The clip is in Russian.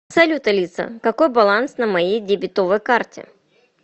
салют алиса какой баланс на моей дебетовой карте